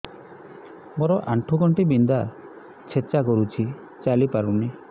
ମୋର ଆଣ୍ଠୁ ଗଣ୍ଠି ବିନ୍ଧା ଛେଚା କରୁଛି ଚାଲି ପାରୁନି